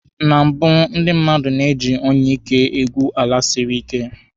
Na mbụ, ndị mmadụ ji onyeike egwu ala siri ike.